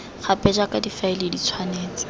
gape jaaka difaele di tshwanetse